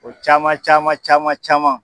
O caman caman caman caman.